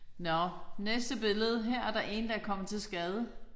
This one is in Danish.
Nåh næste billede. Her er der én der er kommet til skade